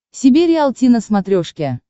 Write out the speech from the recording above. себе риалти на смотрешке